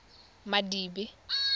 madibe